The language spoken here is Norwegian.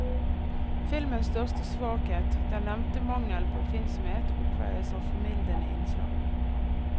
Filmens største svakhet, den nevnte mangelen på oppfinnsomhet, oppveies av formildende innslag.